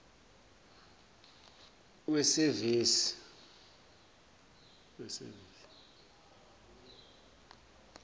wesevisi